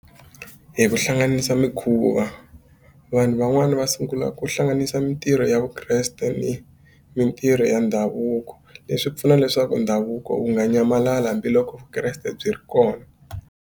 Hi ku hlanganisa mikhuva vanhu van'wani va sungula ku hlanganisa mitirho ya vukreste ni mitirho ya ndhavuko leswi pfuna leswaku ndhavuko wu nga nyamalala hambiloko vukreste byi ri kona.